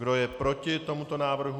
Kdo je proti tomuto návrhu?